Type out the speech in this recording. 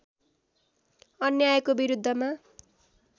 अन्यायको विरुद्धमा